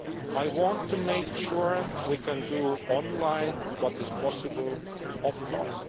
I want to make sure we can do online what is possible offline.